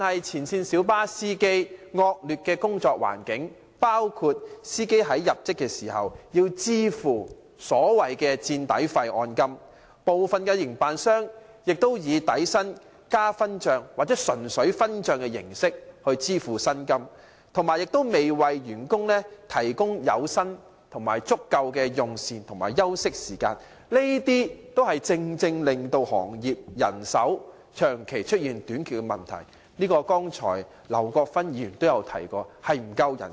前線小巴司機的工作環境惡劣，在入職時要支付所謂的"墊底費"按金，部分營辦商以底薪加分帳，或純粹分帳的形式來支付他們的薪酬，亦未有為他們提供足夠的有薪用膳及休息時間，這些正正是行業人手長期短缺的原因，這問題剛才劉國勳議員也提過。